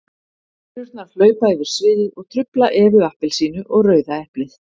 Perurnar hlaupa yfir sviðið og trufla Evu appelsínu og Rauða eplið.